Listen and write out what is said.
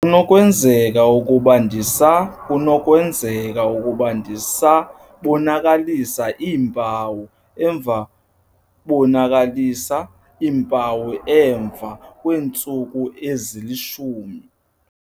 kunokwenzeka ukuba ndisa kunokwenzeka ukuba ndisa bonakalisa iimpawu emva bonakalisa iimpawu emva kweentsuku ezili-10?